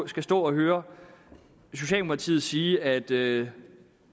skulle stå at høre socialdemokratiet sige at det